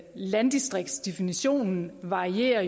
landdistriktsdefinitionen jo varierer